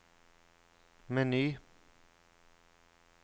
meny